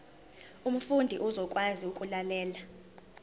umfundi uzokwazi ukulalela